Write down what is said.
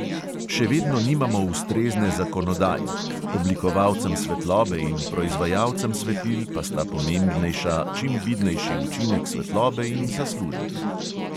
Še vedno nimamo ustrezne zakonodaje, oblikovalcem svetlobe in proizvajalcem svetil pa sta pomembnejša čim vidnejši učinek svetlobe in zaslužek.